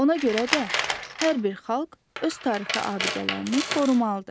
Ona görə də hər bir xalq öz tarixi abidələrini qorumalıdır.